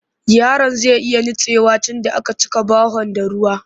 Yaron zai iya nutsewa tunda a ka cika bahon da ruwa